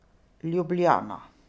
Ljubljana.